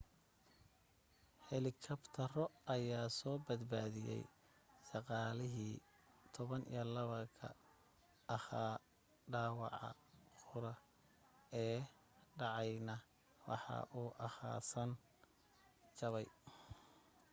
helikabtaro ayaa soo badbaadiyay shaqaalihii 12 ka ahaa dhaawaca qura ee dhacayna waxa uu ahaa san jabay